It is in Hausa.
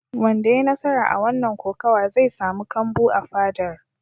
Wanda ya yi nasara a wannan kokawa zai samu kambu a fadar.